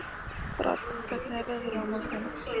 Fránn, hvernig er veðrið á morgun?